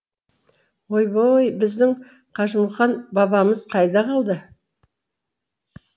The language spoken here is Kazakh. ойбой біздің қажымұқан бабамыз қайда қалды